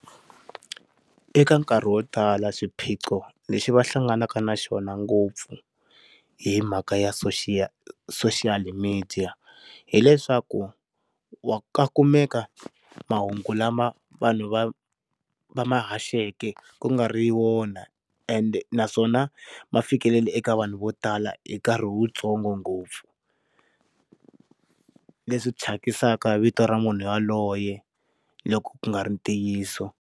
Eka nkarhi wo tala swiphiqo lexi va hlanganaka na xona ngopfu hi mhaka ya social social media hileswaku wa ka kumeka mahungu lama vanhu va va ma haxeke ku nga ri wona and naswona ma fikeleli eka vanhu vo tala hi nkarhi wu tsongo ngopfu leswi thyakisaka vito ra munhu yaloye loko ku nga ri ntiyiso.